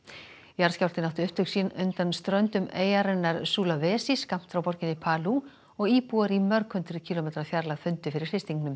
jarðskjálftinn átti upptök sín undan ströndum eyjarinnar Sulawesi skammt frá borginni og íbúar í mörg hundruð kílómetra fjarlægð fundu fyrir